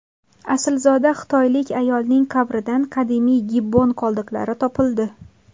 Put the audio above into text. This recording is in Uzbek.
Aslzoda xitoylik ayolning qabridan qadimiy gibbon qoldiqlari topildi.